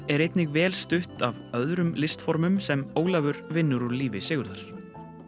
er einnig vel stutt af öðrum sem Ólafur vinnur úr lífi Sigurðar